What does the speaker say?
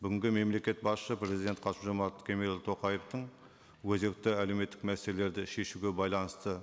бүгінгі мемлекет басшы президент қасым жомарт кемелұлы тоқаевтың өзекті әлеуметтік мәселелерді шешуге байланысты